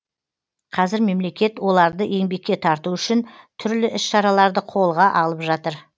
қазір мемлекет оларды еңбекке тарту үшін түрлі іс шараларды қолға алып жатыр